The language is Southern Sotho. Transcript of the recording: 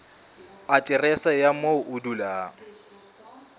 aterese ya moo o dulang